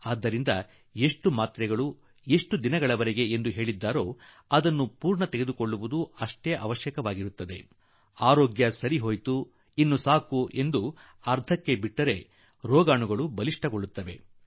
ಆದುದರಿಂದ ಎಷ್ಟು ಮಾತ್ರೆ ಕೋರ್ಸ್ ತೆಗೆದುಕೊಳ್ಳಲು ವೈದ್ಯರು ಹೇಳುವರೋ ಅದನ್ನು ಪೂರ್ತಿಗೊಳಿಸುವುದು ಅಗತ್ಯ ಆರೋಗ್ಯ ಸುಧಾರಿಸಿ ಬಿಟ್ಟಿತು ಎಂದು ಹೇಳಿ ಈಗ ಔಷಧಿಯ ಅಗತ್ಯವಿಲ್ಲ ಎಂದು ನಾವು ಒಂದು ವೇಳೆ ತೀರ್ಮಾನ ಮಾಡಿದರೆ ಅದು ಜೀವಾಣುವಿಗೆ ಅನುಕೂಲವಾಗಿ ಬಿಡುತ್ತದೆ ಮತ್ತು ಜೀವಾಣು ಪ್ರಬಲವಾದೀತು